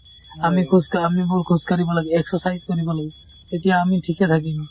আমি খোজকা আমিবোৰ খোজকাঢ়িব লাগে, exercise কৰিব লাগে তেতিয়া আমি ঠিকে থাকিম